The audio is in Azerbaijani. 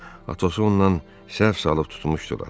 Athos-u ondan səhv salıb tutmuşdular.